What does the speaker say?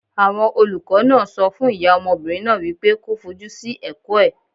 Àwọn olùkọ́ náà sọ fún ìyá ọmọbìnrin náà wípé kó fojú sí ẹ̀kọ́ ẹ̀.